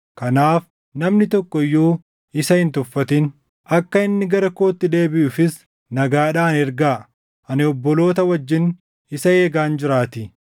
Kanaaf namni tokko iyyuu isa hin tuffatin; akka inni gara kootti deebiʼuufis nagaadhaan ergaa; ani obboloota wajjin isa eegaan jiraatii.